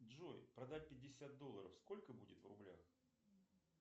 джой продать пятьдесят долларов сколько будет в рублях